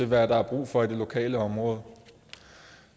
hvad der er brug for i det lokale område